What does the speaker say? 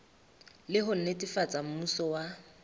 le ho netefatsa mmuso wa